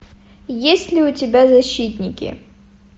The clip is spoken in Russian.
есть ли у тебя защитники